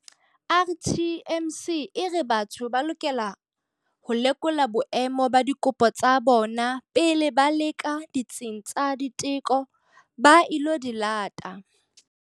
RTMC e re batho ba lokela ho lekola boemo ba dikopo tsa bona pele ba leba ditsing tsa diteko ba ilo di lata.